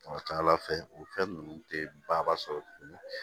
A ka ca ala fɛ o fɛn ninnu tɛ ba sɔrɔ tuguni